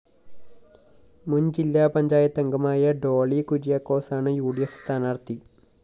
മുന്‍ ജില്ലാ പഞ്ചായത്തംഗമായ ഡോളി കുര്യാക്കോസാണ് ഉ ഡി ഫ്‌ സ്ഥാനാര്‍ഥി